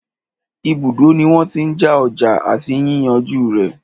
Ibùdó ní wọ́n tí n já ọjà àti yíyànjú rẹ̀.